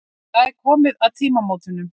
Það er komið að tímamótunum.